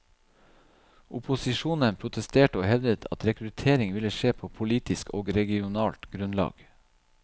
Opposisjonen protesterte og hevdet at rekruttering ville skje på politisk og regionalt grunnlag.